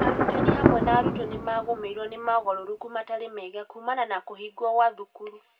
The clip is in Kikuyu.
Arutani, hamwe na arutwo, nĩ magũmĩirũo nĩ mogarũrũku matarĩ mega kuumana na kũhingwo kwa thukuru.